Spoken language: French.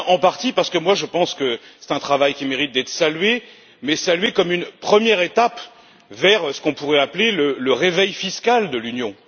Je dis bien en partie parce que je pense que c'est un travail qui mérite d'être salué, mais salué comme une première étape vers ce qu'on pourrait appeler le réveil fiscal de l'Union.